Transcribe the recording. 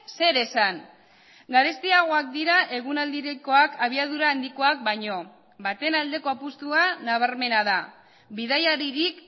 zer esan garestiagoak dira egunaldikoak abiadura handikoak baino baten aldeko apustua nabarmena da bidaiaririk